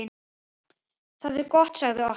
Það er gott sagði Ottó.